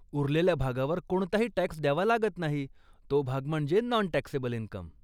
उरलेल्या भागावर कोणताही टॅक्स द्यावा लागत नाही, तो भाग म्हणजे नॉन टॅक्सेबल इनकम.